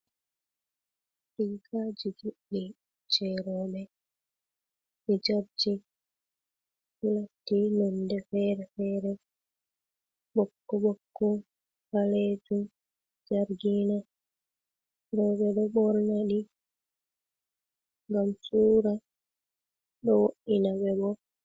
Rigaji juddi je robe. Hijabji latti nonde fere-fere bokko-bokko, balejum, jargina. Robe ɗe bornadi ngam suura ɗo wo’dina be bo.